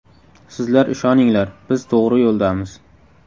Sizlar ishoninglar, biz to‘g‘ri yo‘ldamiz.